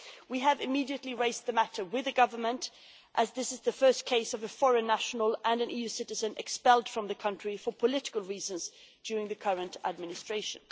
We immediately raised the matter with the government, as this is the first case of a foreign national and an EU citizen being expelled from the country for political reasons during the current administration.